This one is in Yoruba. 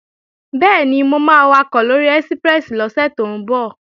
Bẹ́ẹ̀ni, mo máa wakọ̀ lóri ẹ́síprẹ́sì lọ́sẹ̀ tó ń bọ̀